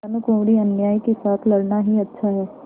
भानुकुँवरिअन्यायी के साथ लड़ना ही अच्छा है